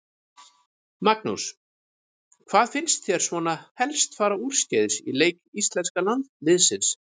Magnús: Hvað fannst þér svona helst fara úrskeiðis í leik íslenska liðsins?